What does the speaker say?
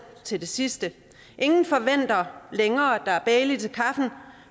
til det sidste ingen forventer længere at der er bailey til kaffen